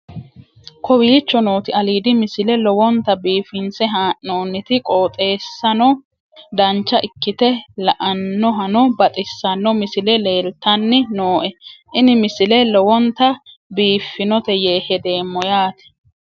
kowicho nooti aliidi misile lowonta biifinse haa'noonniti qooxeessano dancha ikkite la'annohano baxissanno misile leeltanni nooe ini misile lowonta biifffinnote yee hedeemmo yaate